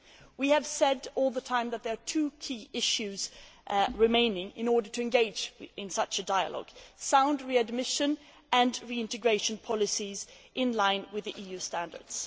We have said all the time that there are two key issues remaining in order to engage in such a dialogue sound readmission, and reintegration policies in line with the EU standards.